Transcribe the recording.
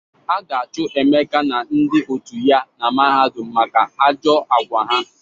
A ga-achụ Emeka na ndị otu ya na mahadum maka ajọ agwa ha.